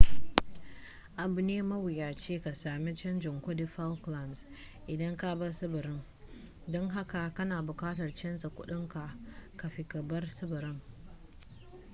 abu ne mawuyaci ka sami canjin kudin falklands idan ka bar tsibirin don haka kana bukatar canzar kudinka kafin ka bar tsibirin